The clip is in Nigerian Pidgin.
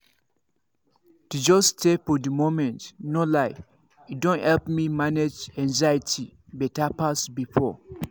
to just stay for the moment no lie e don help me manage anxiety better pass before.